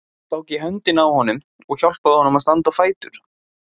Hún tók í höndina á honum og hjálpaði honum að standa á fætur.